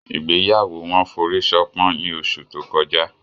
Igbeyawo wọn foriṣopọn ni oṣu to kọja